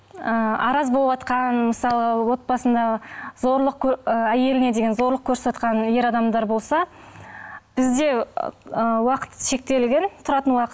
ы араз боватқан мысалы отбасында зорлық әйеліне деген зорлық көрсетіватқан ер адамдар болса бізде ы уақыт шектелген тұратын уақыт